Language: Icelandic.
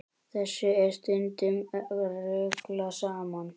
Þessu er stundum ruglað saman.